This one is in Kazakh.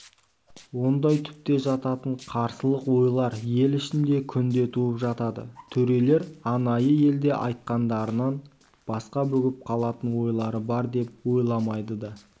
ондай түпте жататын қарсылық ойлар ел ішінде күнде туып жатады төрелер анайы елде айтқандарынан басқа бүгіп қалатын ойлары бар деп ойламайды да